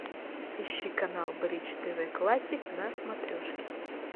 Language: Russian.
ищи канал бридж тв классик на смотрешке